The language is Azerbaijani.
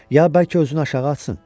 Ya bəlkə özünü aşağı atsın?